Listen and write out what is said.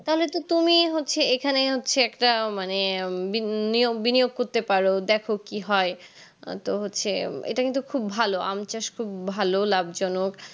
তাহলে তো তুমি হচ্ছে এখানে হচ্ছে একটা মানে বিনিয়োগ বিনিয়োগ করতে পারো দেখো কি হয় তো হচ্ছে এটা কিন্তু খুব ভালো আম চাষ খুব ভালো লাভজনক